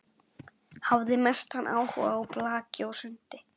Hafði mestan áhuga á blaki og sundi.